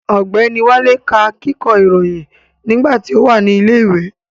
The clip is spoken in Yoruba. Ọ̀gbẹ́ni Wálé ká kíkọ́ ìròyìn nígbà tí ó wà ní ilẹ̀ ìwé